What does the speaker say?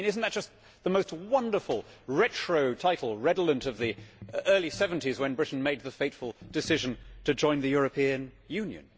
I mean is that not just the most wonderful retro title redolent of the early seventies when Britain made the fateful decision to join the European Union?